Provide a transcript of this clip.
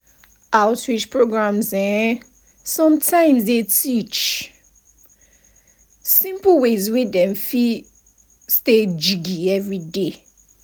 outreach programs eh sometimes dey teach pause simple ways wey dem fit stay jiggy everyday.